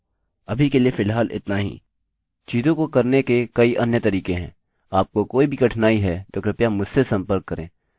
अभी के लिए फ़िलहाल इतना ही चीजों को करने के कई अन्य तरीके हैं